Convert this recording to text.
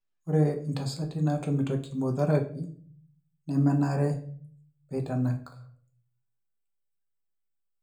Ore itasati natumito cheomotherapy nemenare peitanak.